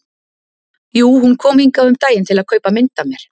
Jú, hún kom hingað um daginn til að kaupa mynd af mér.